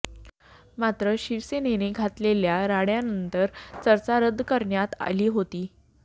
मात्र शिवसेनेने घातलेल्या राड्यानंतर चर्चा रद्द करण्यात आली होती